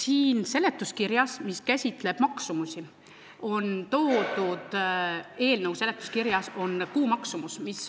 Eelnõu seletuskirja osas, mis käsitleb maksumusi, on toodud kuumaksumus.